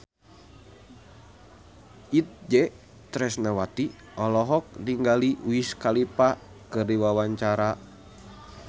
Itje Tresnawati olohok ningali Wiz Khalifa keur diwawancara